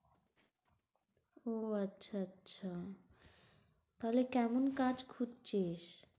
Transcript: আহ আচ্ছা আচ্ছা তাহলে কেমন কাজ খুজছিস?